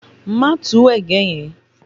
Má tu ẹ̀gẹ́ yẹn!